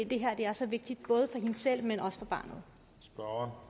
det her er så vigtigt både for hende selv og